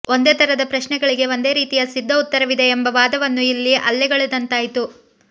ಒಂದೇ ಥರದ ಪ್ರಶ್ನೆಗಳಿಗೆ ಒಂದೇ ರೀತಿಯ ಸಿದ್ಧ ಉತ್ತರವಿದೆ ಎಂಬ ವಾದವನ್ನು ಇಲ್ಲಿ ಅಲ್ಲಗಳೆದಂತಾಯಿತು